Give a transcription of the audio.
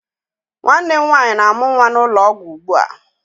Nwanne m nwaanyị na-amụ nwa n'ụlọ ọgwụ ugbua.